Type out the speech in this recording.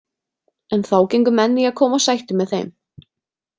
En þá gengu menn í að koma á sættum með þeim.